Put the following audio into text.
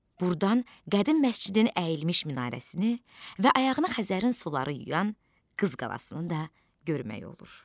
Buradan qədim məscidin əyilmiş minarəsini və ayağını Xəzərin suları yuyan Qız Qalasını da görmək olur.